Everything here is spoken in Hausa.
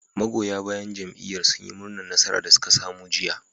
Magoya bayan jam'iyyar sun yi murnar nasarar da suka samu a jiya